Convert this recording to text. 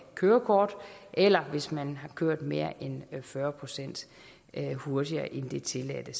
kørekort eller hvis man har kørt mere end fyrre procent hurtigere end det tilladte